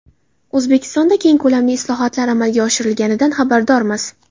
O‘zbekistonda keng ko‘lamli islohotlar amalga oshirilganidan xabardormiz.